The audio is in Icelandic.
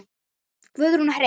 Guðrún og Hreinn.